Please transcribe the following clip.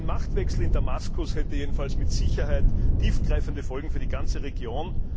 Ein Machtwechsel in Damaskus hätte jedenfalls mit Sicherheit tiefgreifende Folgen für die ganze Region.